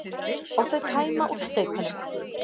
Og þau tæma úr staupunum.